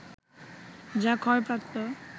যা ক্ষয়প্রাপ্ত